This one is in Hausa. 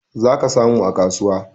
Zaka samu a kasuwa